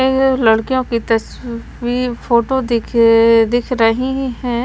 अ लड़कियों की तस्वीर फोटो दिख अ दिख रही है।